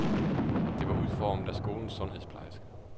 Det var udformet af skolens sundhedsplejerske.